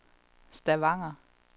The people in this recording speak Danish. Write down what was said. Stavanger